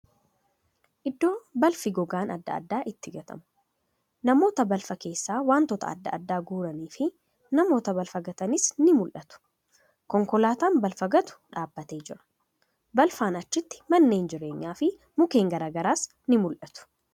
Iddoo balfi gogaan adda addaa itti gatamu. Namoota balfa keessas wantoota adda addaa guuraniifi namoota balfa gatanis ni mul'atu. Konkolaataan balfa gatu dhaabbatee jira. Balfaan achitti manneen jireenyafi mukkeen gara garas ni mul'atu.